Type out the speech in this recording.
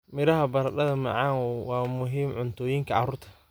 Miraha barada mcn waa muhiim cuntooyinka carruurta.